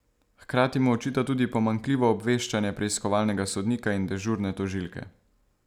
Hkrati mu očita tudi pomanjkljivo obveščanje preiskovalnega sodnika in dežurne tožilke.